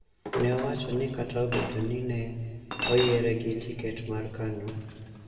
ne owacho ni kata obedo ni ne oyiere gi tiket mar Kanu,